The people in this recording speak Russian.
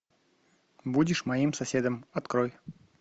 будешь моим соседом открой